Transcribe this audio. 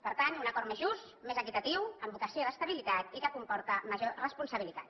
per tant un acord més just més equitatiu amb vocació d’estabilitat i que comporta major responsabilitat